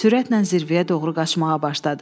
Sürətlə zirvəyə doğru qaçmağa başladı.